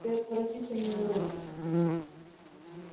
ты отвратительный уродец